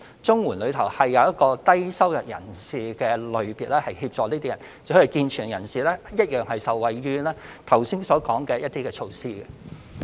綜援有一個"低收入人士"類別，可協助這類人士，而健全人士一樣可受惠於剛才提及的一些措施。